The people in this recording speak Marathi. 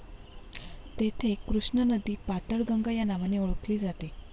तेथे कृष्णा नदी पाताळगंगा या नावाने ओळखली जाते.